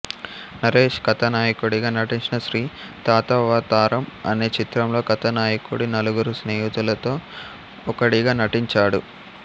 నరేశ్ కథానాయకుడిగా నటించిన శ్రీ తాతావతారం అనే చిత్రంలో కథానాయకుడి నలుగురు స్నేహితులలో ఒకడిగా నటించాడు